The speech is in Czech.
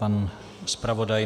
Pan zpravodaj?